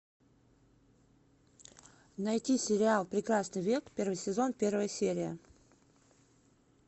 найти сериал прекрасный век первый сезон первая серия